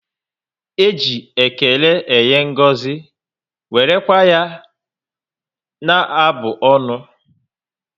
E ji ékélé enye ngọzi, wéré kwa ya na abụ ọnụ